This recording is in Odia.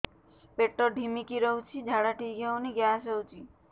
ପେଟ ଢିମିକି ରହୁଛି ଝାଡା ଠିକ୍ ହଉନି ଗ୍ୟାସ ହଉଚି